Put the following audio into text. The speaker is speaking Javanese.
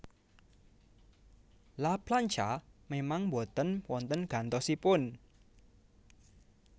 La Plancha memang mboten wonten gantosipun